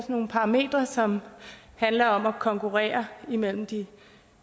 nogle parametre som handler om at konkurrere mellem de